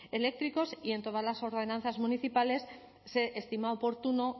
eléctricos y en todas las ordenanzas municipales se estima oportuno